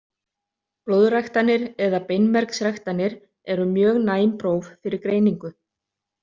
Blóðræktanir eða beinmergsræktanir eru mjög næm próf fyrir greiningu.